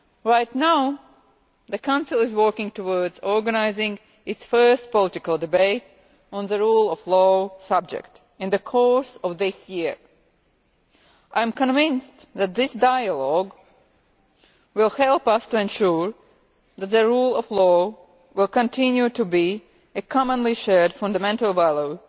Right now the Council is working towards organising its first political debate on the rule of law in the course of this year. I am convinced that this dialogue will help us to ensure that the rule of law will continue to be a commonly shared fundamental value